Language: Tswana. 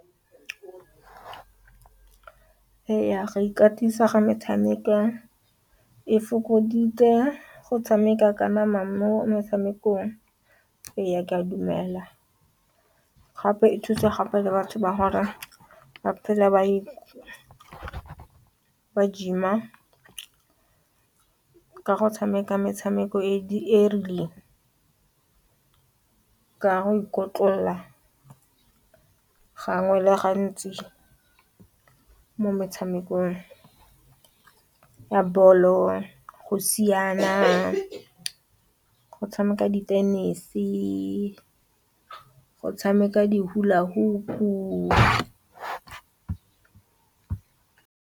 E ya go ikatisa ga metshameko e fokoditse go tshameka ka nama mo motshamekong e ya ke a dumela gape e thusa gape le batho ba hore ba phela ba gym-a ka go tshameka metshameko e rileng ka go ikotlolola gangwe le gantsi mo metshamekong ya ball-o go siana go tshameka di-tennis, ke go tshameka di-hulla hop.